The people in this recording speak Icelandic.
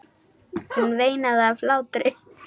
Hún veinaði af hlátri.